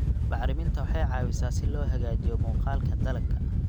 Bacriminta waxay caawisaa si loo hagaajiyo muuqaalka dalagga.